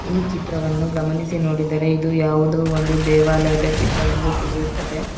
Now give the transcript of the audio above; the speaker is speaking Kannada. ಈ ಚಿತ್ರವನ್ನು ಗಮನಿಸಿ ನೋಡಿದರೆ ಇದು ಯಾವುದೋ ಒಂದು ದೇವಾಲಯದ ಚಿತ್ರವೆಂದು ತಿಳಿಯುತ್ತದೆ.